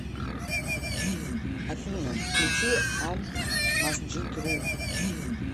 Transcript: афина включи аль масджид ру